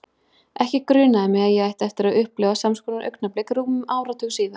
Ekki grunaði mig að ég ætti eftir að upplifa sams konar augnablik rúmum áratug síðar.